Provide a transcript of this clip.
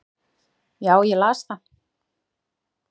Já, ég las það